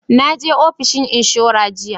Naje ofishin inshora jiya